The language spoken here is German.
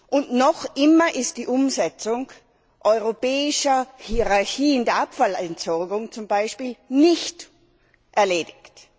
Und noch immer ist die Umsetzung europäischer Hierarchien der Abfallentsorgung zum Beispiel nicht erledigt.